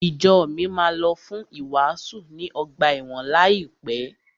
Ìjo mi máa lọ fún ìwàásù ní ọgbà ẹ̀wọ̀n láìpẹ́.